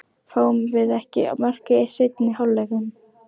Fáum við ekki mörk í seinni hálfleiknum?